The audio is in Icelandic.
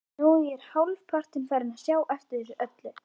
Nú er ég hálfpartinn farinn að sjá eftir þessu öllu.